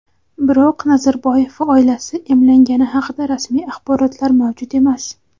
biroq Nazarboyev va oilasi emlangani haqida rasmiy axborotlar mavjud emas.